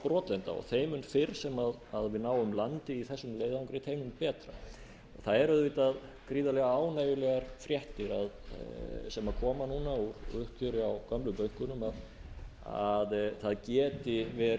brotlenda og þeim mun fyrr sem við náum landi í þessum leiðangri þeim mun betra það eru auðvitað gríðarlega ánægjulegar fréttir sem koma núna úr uppgjöri á gömlu bönkunum að það geti